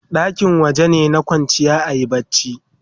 ɗaki wajene na kwanciya ayi barci